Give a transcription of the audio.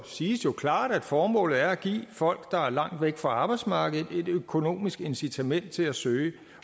siges jo klart at formålet er at give folk der er langt væk fra arbejdsmarkedet et økonomisk incitament til at søge